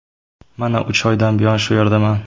Mana uch oydan buyon shu yerdaman.